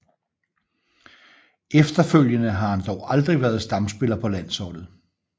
Efterfølgende har han dog aldrig været stamspiller på landsholdet